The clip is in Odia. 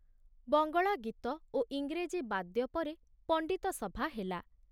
ବଙ୍ଗଳା ଗୀତ ଓ ଇଂରେଜୀ ବାଦ୍ୟ ପରେ ପଣ୍ଡିତ ସଭା ହେଲା।